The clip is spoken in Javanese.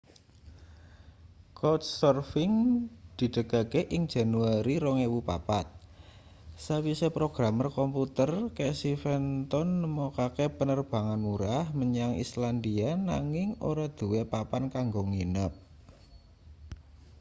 couchsurfing didegake ing januari 2004 sawise programer komputer casey fenton nemokake penerbangan murah menyang islandia nanging ora duwe papan kanggo nginep